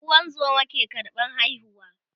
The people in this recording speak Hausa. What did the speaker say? ungozoma ke karɓan haihuwa